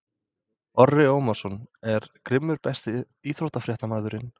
Orri Ómarsson er grimmur Besti íþróttafréttamaðurinn?